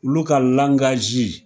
Olu ka